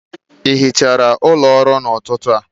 ị hichara ụlọ ọrụ a n'ụtụtụ a?